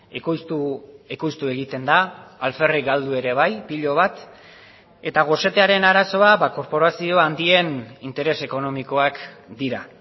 ekoiztu ekoiztu egiten da alferrik galdu ere bai pilo bat eta gosetearen arazoa korporazio handien interes ekonomikoak dira